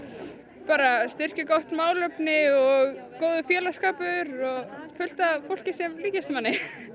bara styrkja gott málefni og góður félagsskapur og fullt af fólki sem líkist manni